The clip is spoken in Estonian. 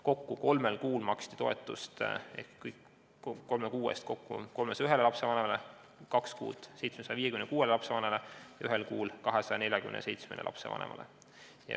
Kõigi kolme kuu eest maksti toetust 301 lapsevanemale, kahe kuu eest 756 lapsevanemale ja ühe kuu eest 247 lapsevanemale.